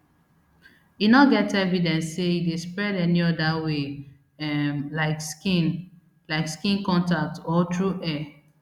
e no get evidence say e dey spread any oda way um like skin like skin contact or through air